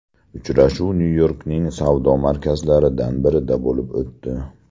Uchrashuv Nyu-Yorkning savdo markazlaridan birida bo‘lib o‘tdi.